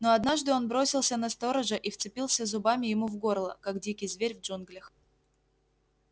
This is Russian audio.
но однажды он бросился на сторожа и вцепился зубами ему в горло как дикий зверь в джунглях